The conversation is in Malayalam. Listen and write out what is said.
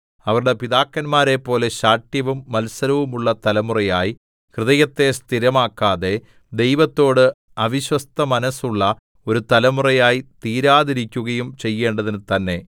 അവരുടെ പിതാക്കന്മാരെപോലെ ശാഠ്യവും മത്സരവും ഉള്ള തലമുറയായി ഹൃദയത്തെ സ്ഥിരമാക്കാതെ ദൈവത്തോട് അവിശ്വസ്തമനസ്സുള്ള ഒരു തലമുറയായി തീരാതിരിക്കുകയും ചെയ്യേണ്ടതിന് തന്നെ